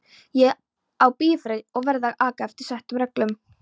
Ég á bifreið og verð að aka eftir settum reglum.